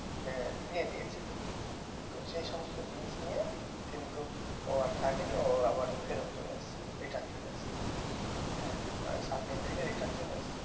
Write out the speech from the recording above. হ্যাঁ দিয়ে দিয়েছে তো সেই সমস্ত জিনিস নিয়ে কিন্তু ও আর থাকেনি ও আবার ফেরত চলে এসেছে এইখানে চলে এসেছে হ্যাঁ ওই সাত দিন থেকে return চলে এসেছে